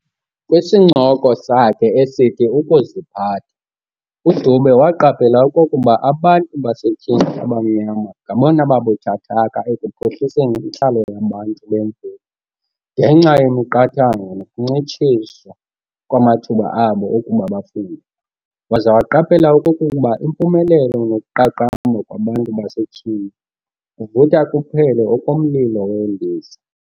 Kwisincoko sakhe esithi "Ukuziphatha" uDube waaqaphela okokuba abantu basetyhini abamnyama ngabona babuthathaka ekuphuhliseni intlalo yabantu bemveli ngenxa yemiqathango nokuncitshiswa kwamathuba abo okuba bafunde, waza waqaphela okokuba impumelelo nokuqaqamba kwabantu basetyhini kuvutha kuphele okomlilo weendiza.